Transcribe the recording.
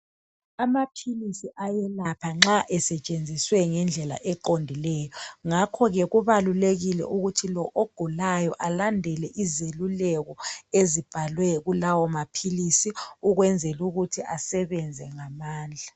Amaphilisi ayelapha nxa esetshenziswe ngendlela eqondileyo, ngakhoke kubalulekile ukuthi lo ogulayo alandele izeluleko ezibhalwe kulawo maphilisi ukwenzelukuthi asebenze ngamandla.